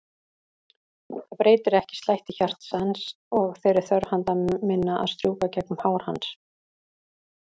Það breytir ekki slætti hjartans og þeirri þörf handa minna að strjúka gegnum hár hans.